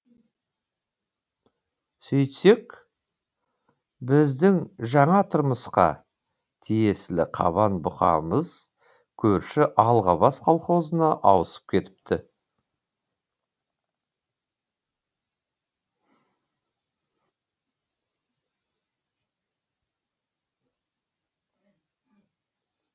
сөйтсек біздің жаңа тұрмысқа тиесілі қабан бұқамыз көрші алғабас колхозына ауысып кетіпті